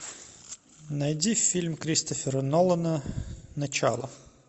найди фильм кристофера нолана начало